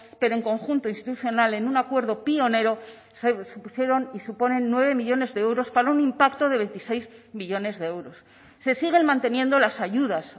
pero en conjunto institucional en un acuerdo pionero supusieron y suponen nueve millónes de euros para un impacto de veintiséis millónes de euros se siguen manteniendo las ayudas